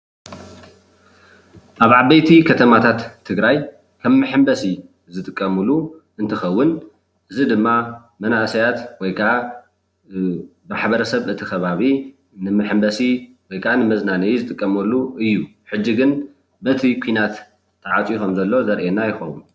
ኣብ ዓበይቲ ከተማታት ትግራይ ከም መሐምበሲ ዝጥቀምሉ እንትከውን እዚ ድማ መናእሰያት ወይ ከዓ ማሕበረሰብ እቲ ከባቢ ንመሐምበሲ ወይ ከዓ ንመዝናነይ ዝጥቀመሉ እዩ፡፡ ሕጂ ግን በቲ ኩናት ተዓፅዮ ከም ዘሎ ዘርእየና ይከውን፡፡